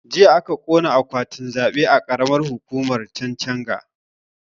Jiya aka ƙona akwatin zaɓe a karamar hukumar chanchaga